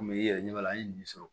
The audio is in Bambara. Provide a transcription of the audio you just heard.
Komi i yɛrɛ ɲɛ b'a la an ye nin sɔrɔ